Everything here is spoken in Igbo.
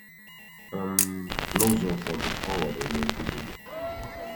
um N'ụzọ ụfọdụ, ọ ghọrọ onye nkuzi gị.